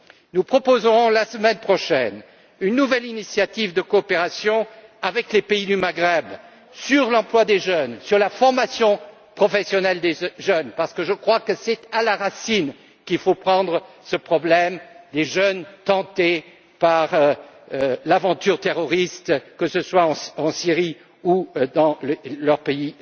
Nous proposerons la semaine prochaine une nouvelle initiative de coopération avec les pays du Maghreb sur l'emploi des jeunes, sur la formation professionnelle des jeunes, parce que je crois que c'est à la racine qu'il faut prendre ce problème des jeunes tentés par l'aventure terroriste, que ce soit en Syrie ou dans leur propre pays.